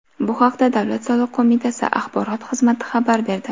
Bu haqda Davlat soliq qo‘mitasi axborot xizmati xabar berdi.